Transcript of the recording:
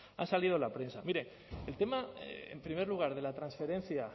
han salido en la prensa mire el tema en primer lugar de la transferencia